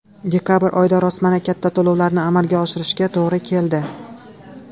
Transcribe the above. Dekabr oyida rostmana katta to‘lovlarni amalga oshirishga to‘g‘ri keldi.